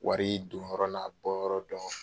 Wari don yɔrɔ n'a bɔ yɔrɔ dɔn.